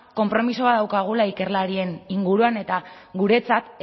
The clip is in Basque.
konpromiso bat daukagula ikerlarien inguruan eta guretzat